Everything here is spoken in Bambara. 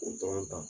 O dɔrɔn ta